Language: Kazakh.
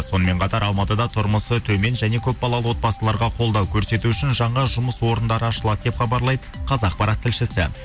сонымен қатар алматыда тұрмысы төмен және көпбалалы отбасыларға қолдау көрсету үшін жаңа жұмыс орындары ашылады деп хабарлайды қазақпарат тілшісі